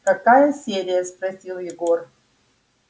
какая серия спросил егор